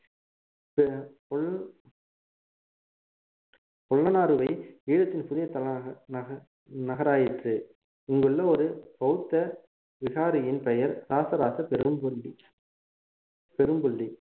பொலன்னருவை ஈழத்தின் புதிய தலைநக~ நக~ நகராயிற்று இங்குள்ள ஒரு பௌத்த விகாரியின் பெயர் ராசராச பெரும்பள்ளி பெரும்பள்ளி